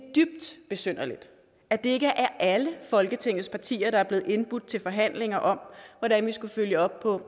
besynderligt at det ikke er alle folketingets partier der blevet indbudt til forhandlinger om hvordan vi skal følge op på